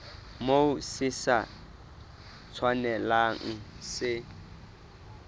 moo se sa tshwanelang se